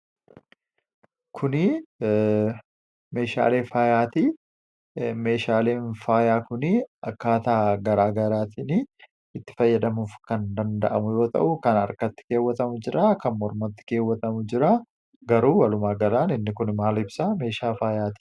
Kunii meeshaalee faayaatii. Meeshaaleen faayaa kunii akkaataa garaagaraatiin itti fayyadamuuf kan danda'amu yoo ta'u kan harkatti keewwatamu jiraa, kan mormatti keewwatamu jiraa garuu walumaagalaan inni kun maal ibsaa meeshaa faayatii.